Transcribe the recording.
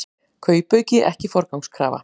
Kaupauki ekki forgangskrafa